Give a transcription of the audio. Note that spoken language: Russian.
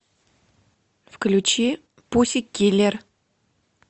включи пуссикиллер